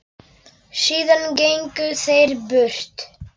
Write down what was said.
Síðan gengu þeir burt.